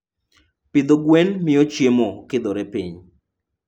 Pidho gwen miyo chiemo okidhore piny.